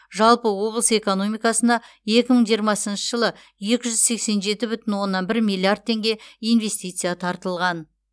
жалпы облыс экономикасына екі мың жиырмасыншы жылы екі жүз сексен жеті бүтін оннан бір миллиард теңге инвестиция тартылған